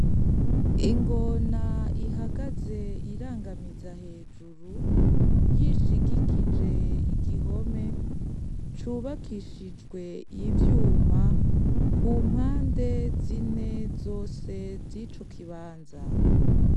Ingona ihagaze irangamiza hejuru yishigikije igihome cubakishijwe ivyuma ku mpande zine zose zico kibanza.